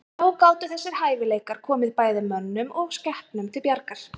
Þá gátu þessir hæfileikar komið bæði mönnum og skepnum til bjargar.